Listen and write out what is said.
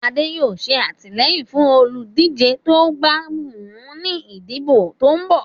Adé yóò ṣe àtìlẹ́yìn fún olùdíje tó bá wù ú ní ìdìbò tó ń bọ́ ọ̀.